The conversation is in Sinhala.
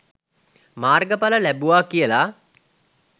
මාර්ගඵල ලැබුවා කියලා